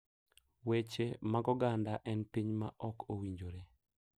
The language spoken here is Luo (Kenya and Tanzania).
Weche mag oganda en piny ma ok owinjore